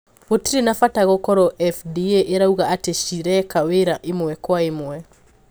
Gũtirĩ na bata gũkorwo FDA irauga ati cireka wira imwe kwa imwe.